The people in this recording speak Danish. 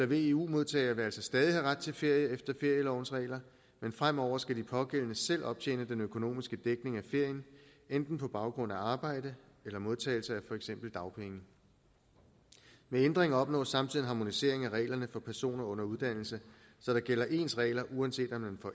veu modtagere vil altså stadig have ret til ferie efter ferielovens regler men fremover skal de pågældende selv optjene den økonomiske dækning af ferien enten på baggrund af arbejde eller modtagelse af for eksempel dagpenge med ændringen opnås samtidig en harmonisering af reglerne for personer under uddannelse så der gælder ens regler uanset om man får